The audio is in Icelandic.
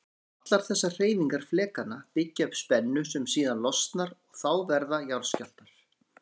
Allar þessar hreyfingar flekanna byggja upp spennu sem síðan losnar og þá verða jarðskjálftar.